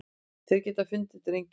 Þeir geta fundið drenginn.